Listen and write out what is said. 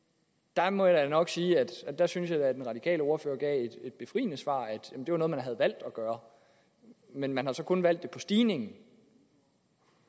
der må jeg da nok sige at jeg synes at den radikale ordfører gav et befriende svar at det var noget man havde valgt at gøre men man har så kun valgt det hvad stigningen